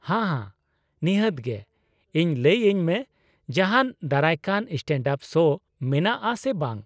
-ᱦᱟ ᱦᱟ ᱱᱤᱦᱟᱹᱛ ᱜᱮ ! ᱤᱧ ᱞᱟᱹᱭ ᱟᱹᱧ ᱢᱮ ᱡᱟᱦᱟᱱ ᱫᱟᱨᱟᱭ ᱠᱟᱱ ᱥᱴᱮᱱᱰᱼᱟᱯ ᱥᱳ ᱢᱮᱱᱟᱜᱼᱟ ᱥᱮ ᱵᱟᱝ ᱾